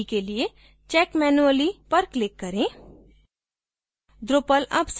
अभी के लिए check manually पर click करें